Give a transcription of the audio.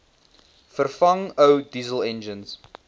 vervang ou dieselenjins